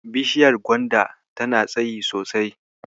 Bishaiyar gwanda tana tsayi sosai.